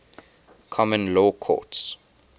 common law courts